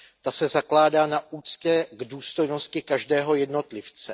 Ta se zakládá na úctě k důstojnosti každého jednotlivce.